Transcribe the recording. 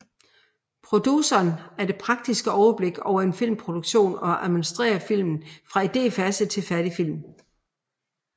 Produceren har det praktiske overblik over en filmproduktion og administrerer filmen fra idéfase til færdig film